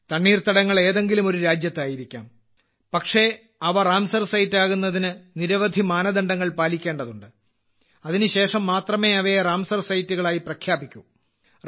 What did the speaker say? തണ്ണീർത്തടങ്ങൾ എതെങ്കിലും ഒരു രാജ്യത്തായിരിക്കാം പക്ഷേ അവ രാംസാർ സൈറ്റ്സ് ആകുന്നതിന് നിരവധി മാനദണ്ഡങ്ങൾ പാലിക്കേണ്ടതുണ്ട് അതിനുശേഷം മാത്രമേ അവയെ റാംസർ സൈറ്റുകളായി പ്രഖ്യാപിക്കൂ